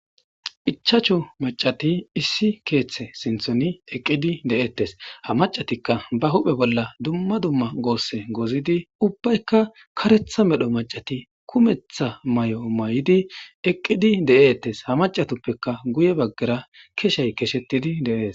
ichachu macati issi keeththe sinthoni eqqidi de7eettes ha macatikka ba huphe bolla dumma dumma goosse gozidi ubbaykka karetha medho macati kumetha may7o may7idi eqqidi de7eettes ha macatoppeka guye baggara keshay keshettidi deees